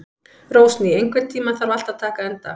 Rósný, einhvern tímann þarf allt að taka enda.